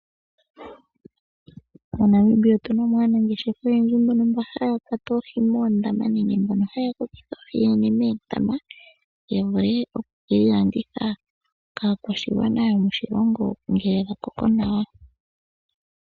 MoNamibia otuna mo aanangeshefa oyendji mbono mba haya kwata oohi moondama, nenge mbono haya kokeke oohi oonene moondama. Ya vule oku keyi landitha kaakwashigwana yo moshilongo ngele dha pupo nawa.